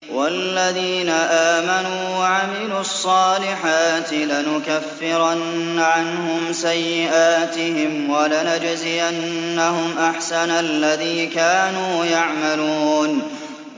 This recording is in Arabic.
وَالَّذِينَ آمَنُوا وَعَمِلُوا الصَّالِحَاتِ لَنُكَفِّرَنَّ عَنْهُمْ سَيِّئَاتِهِمْ وَلَنَجْزِيَنَّهُمْ أَحْسَنَ الَّذِي كَانُوا يَعْمَلُونَ